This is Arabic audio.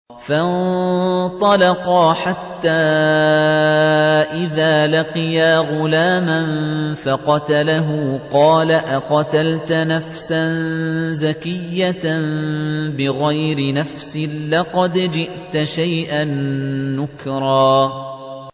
فَانطَلَقَا حَتَّىٰ إِذَا لَقِيَا غُلَامًا فَقَتَلَهُ قَالَ أَقَتَلْتَ نَفْسًا زَكِيَّةً بِغَيْرِ نَفْسٍ لَّقَدْ جِئْتَ شَيْئًا نُّكْرًا